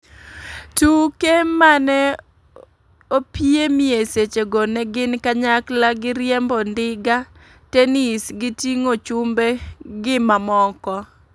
Tuke mane opiemie seche go ne gin kanyakla g riembo ndiga, tenis gi tingo chumbe gi mamoko.